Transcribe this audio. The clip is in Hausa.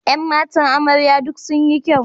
Ƴan matan amarya duk sun yi kyau.